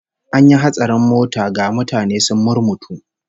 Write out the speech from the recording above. An yi hatsarin mota, ga mutane sun murmutu